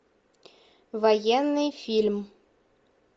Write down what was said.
военный фильм